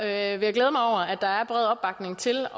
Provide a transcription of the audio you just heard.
at der er bred opbakning til